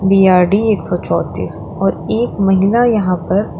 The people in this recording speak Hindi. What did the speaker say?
डी_आर_डी एक सौ चौंतीस और एक महिला यहां पर--